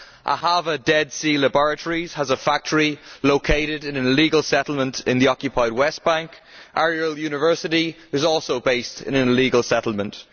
Ahava Dead Sea Laboratories has a factory located in an illegal settlement in the occupied West Bank. Ariel University is also based in an illegal settlement.